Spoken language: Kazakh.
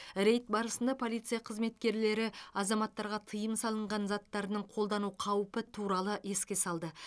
рейд барысында полиция қызметкерлері азаматтарға тыйым салынған заттарының қолдану қаупі туралы еске салды